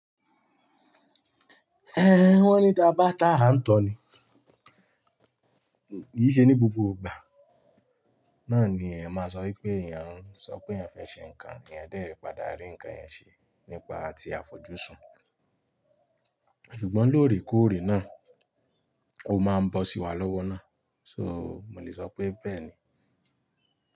Ẹn, wọ́n ní ta bá tà á, ń tọ̀ ni. Kì í ṣe ní gbogbo gbà, náà ni èèyàn máa sọ wípé èèyàn ń sọ pé èèyàn fẹ́ ṣe ǹkan, èèyàn dẹ ribpadà rí ǹkan yẹn ṣe nípa àti àfojúsùn. Ṣùgbọ́n lóòrèkóòrè náà, ó máa ń bọ́ sí wa lọ́wọ́ náà. So, mo lè sọ pé bẹ́ẹ̀ ni.